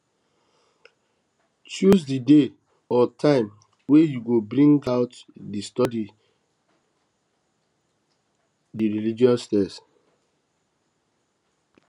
choose di day or time wey you go bring out de study di religious text